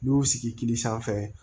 N'i y'u sigi k'i sanfɛ